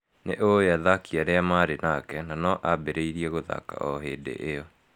Nĩ ũũĩ athaki arĩa marĩ nake, na no ambĩrĩrie guthaka o hĩndĩ ĩyo.